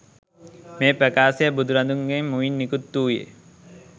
මේ ප්‍රකාශය බුදුරදුන්ගේ මුවින් නිකුත් වූයේ